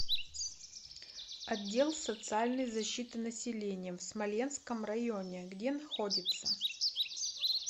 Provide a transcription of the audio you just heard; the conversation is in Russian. отдел социальной защиты населения в смоленском районе где находится